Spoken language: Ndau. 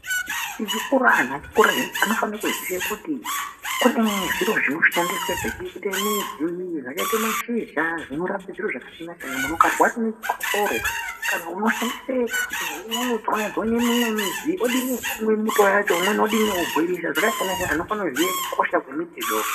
Tichikura, antu achikura zviye anofanire kuziye kuti kune zviro zvinoshandiswe zvakaita midzi zvakaite mashizha zvinorape zviro zvakasiyana siyana. Muntu ukarwara ngechikosoro unoshandise, unotswanye tswanye mumwe mudzi wodini womwe muto wacho umweni wodini wobhoirisa. Zvakasiyana siyana, unofanire kuziya kukosha kwemiti.